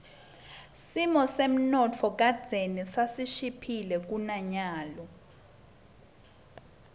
simo semnotfo kadzeni sasishiphile kunanyalo